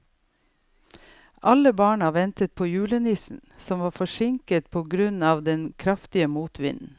Alle barna ventet på julenissen, som var forsinket på grunn av den kraftige motvinden.